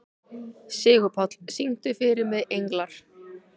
Sigurpáll, syngdu fyrir mig „Englar“.